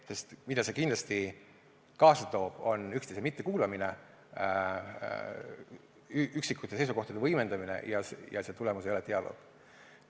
See, mille see kindlasti kaasa toob, on üksteise mittekuulamine, üksikute seisukohtade võimendamine, selle tulemus ei ole dialoog.